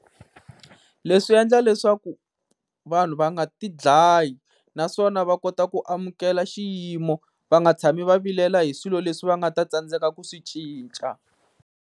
Leswi swi endla leswaku vanhu va nga ti dlayi naswona va kota ku amukela xiyimo. Va nga tshami va vilela hi swilo leswi va nga ta tsandzeka ku swi cinca.